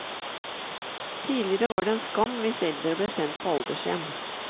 Tidligere var det en skam hvis eldre ble sendt på aldershjem.